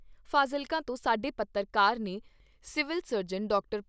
ਫਾਜ਼ਿਲਕਾ ਤੋਂ ਸਾਡੇ ਪੱਤਰਕਾਰ ਨੇ ਸਿਵਲ ਸਰਜਨ ਡਾਕਟਰ